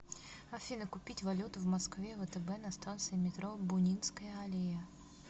афина купить валюту в москве втб на станции метро бунинская аллея